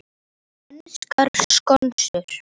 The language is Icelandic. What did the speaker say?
Enskar skonsur